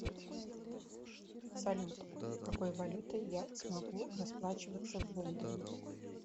салют какой валютой я смогу расплачиваться в лондоне